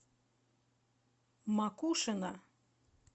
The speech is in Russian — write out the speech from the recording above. макушино